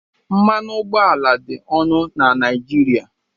Mmanụ ụgbọala dị ọnụ na Naijiria